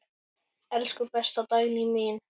Elsku besta Dagný mín.